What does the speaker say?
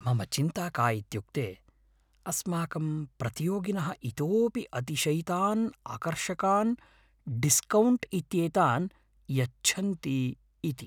मम चिन्ता का इत्युक्ते अस्माकं प्रतियोगिनः इतोपि अतिशयितान् आकर्षकान् डिस्कौण्ट् इत्येतान् यच्छन्ति इति ।